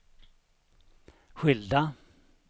skilda